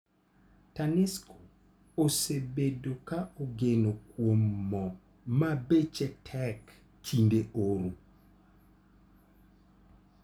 Tanesco osebedo ka ogeno kuom moo ma beche tek kinde oro.